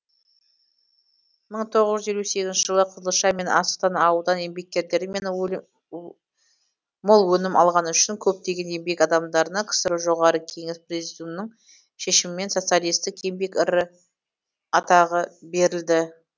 мың тоғыз жүз елу сегізінші жылы қызылша мен астықтан аудан еңбеккерлері мол өнім алғаны үшін көптеген еңбек адамдарына ксро жоғарғы кеңесі президиумының шешімімен социалистік еңбек ері атағы берілді